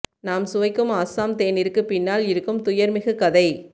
நாம் சுவைக்கும் அஸ்ஸாம் தேநீருக்கு பின்னால் இருக்கும் துயர் மிகு கதை